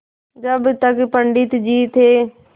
जब तक पंडित जी थे